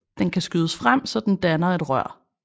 Den kan skydes frem så den danner et rør